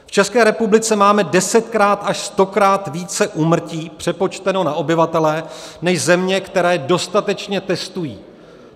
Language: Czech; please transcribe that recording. V České republice máme desetkrát až stokrát více úmrtí přepočteno na obyvatele než země, které dostatečně testují.